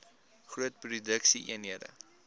groot produksie eenhede